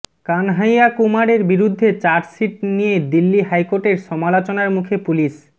কানাহাইয়া কুমারের বিরুদ্ধে চার্জশিট নিয়ে দিল্লি হাইকোর্টের সমালোচনার মুখে পুলিশ